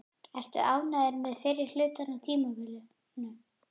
Ertu ánægður með fyrri hlutann á tímabilinu?